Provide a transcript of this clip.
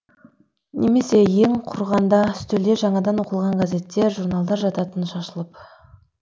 немесе ең құрығанда үстелде жаңадан оқылған газеттер журналдар жататын шашылып